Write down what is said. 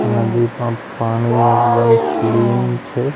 નદીમાં પાણી એકદમ ક્લીન છે.